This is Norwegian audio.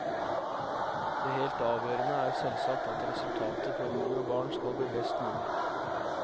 Det helt avgjørende er selvsagt at resultatet for mor og barn skal bli best mulig.